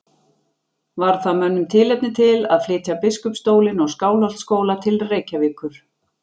Varð það mönnum tilefni til að flytja biskupsstólinn og Skálholtsskóla til Reykjavíkur.